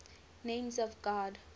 names of god